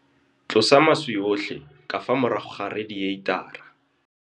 Tlosa maswe otlhe ka fa morago ga redieitara.